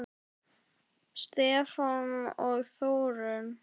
Stefán og Þórunn.